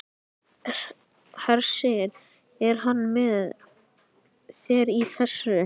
Hersir: Er hann með þér í þessu?